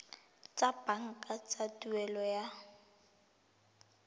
tsa banka tsa tuelo ya